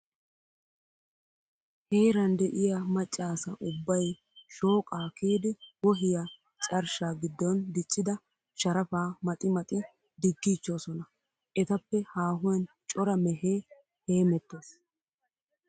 Heeran de'iya macca asa ubbay shooqaa kiyidi wohiya carshsha giddon diccida sharafaa maxi maxi diggiichchoosona. Etappe haahuwan cora mehee heemettes.